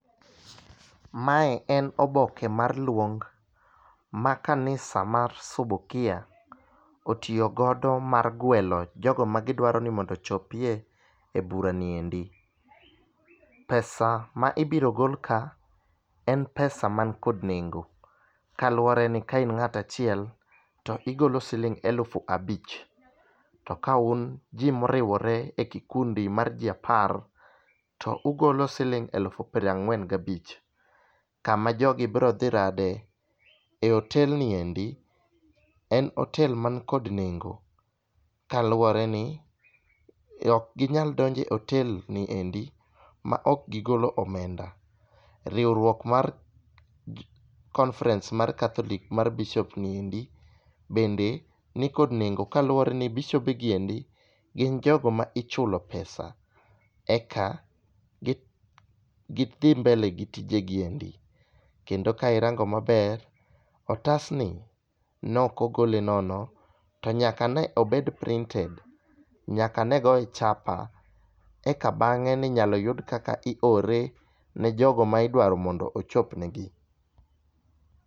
Mae en oboke mar luong ma kanisa mar sobokie otiyo godo mar gwelo jogo ma gidwaro ni mondo ochopie bura ni endi .Pesa ma ibiro gol ka en pesa man kod nengo kaluwore ni ka in ng'ata chiel to igolo siling alufu abich, to kaun jii moriwore e kikundi mar jii apar to ugolo siling alufu pra ng'wen gabich .Kama jogo bro dhi rade e otel ni endi en otel man kod nengo kaluwore ni ok ginyalo donje otel ni endi ma ok gigolo omenda. Riwruok mar conferenece mar catholic mar bishop ni endi bende nikod nengo kaluwore ni bishobe gi endi gin jogo ma ichulo pesa eka gi eka gidhi mbele gitije gi endi. Kendo ka irango maber, otasni nokogole nono to nyaka ne obed printed, nyaka ne goye chapa eka bang'e ninyalo yudo kaka iore ne jogo ma idwaro mondo ochop ne gi.